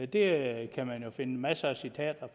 det kan man jo finde masser af citater